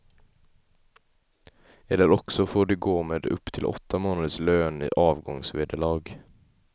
Eller också får de gå med upp till åtta månaders lön i avgångsvederlag.